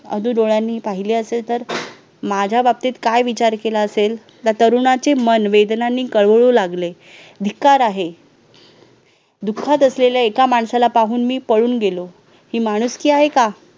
अधू डोळ्यांनी पाहिले असेल तर माझ्या बाबतीत काय विचार केला असेल त्या तरुणाचे मन वेदनांनी कळवू लागले धिक्कार आहे दुःखात असलेल्या एका माणसाला पाहून मी पळून गेलो, ही माणुसकी आहे का?